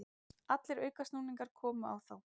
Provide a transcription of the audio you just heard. Allir aukasnúningar komu á þá.